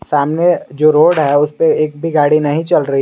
सामने जो रोड है उसपे एक भी गाड़ी नहीं चल रही --